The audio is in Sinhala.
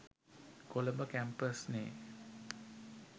කොළඹ කැම්පස්නෙ